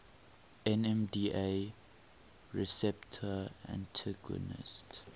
nmda receptor antagonists